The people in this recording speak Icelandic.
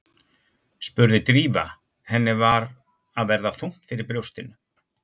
spurði Drífa, henni var að verða þungt fyrir brjóstinu.